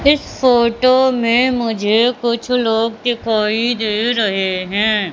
इस फोटो में मुझे कुछ लोग दिखाई दे रहे हैं।